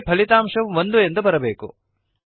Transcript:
ನಿಮಗೆ ಫಲಿತಾಂಶವು ಒಂದು ಎಂದು ಬರಬೇಕು